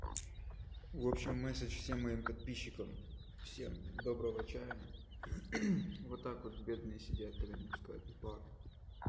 в общем сообщение всем моим подписчикам всем доброго вечера вот так вот бедные сидят когда не пускают в бар